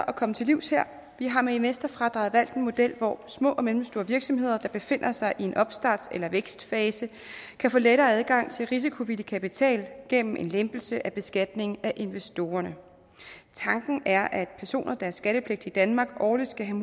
at komme til livs her vi har med investorfradraget valgt en model hvor små og mellemstore virksomheder der befinder sig i en opstarts eller vækstfase kan få lettere adgang til risikovillig kapital gennem en lempelse af beskatning af investorerne tanken er at personer der har skattepligt i danmark årligt skal have